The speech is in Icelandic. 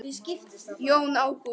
Jón Ágúst.